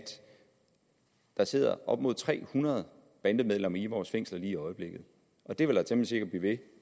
der sidder op mod tre hundrede bandemedlemmer i vores fængsler lige i øjeblikket det vil der temmelig sikkert blive ved